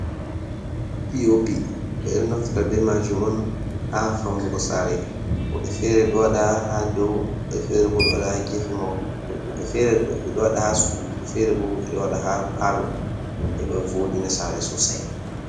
POP: Ɓedo naftira be majum on ha faunugo sare. Woɓɓe fere ɗo waɗa ha dou, woɓɓe fere bo ɗo waɗa ha gefe mahol. Woɓɓe fere ɗo waɗa ha sudu, woɓɓe fere bo ɓeɗo waɗa ha parlo heɓa voɗina sare sosai.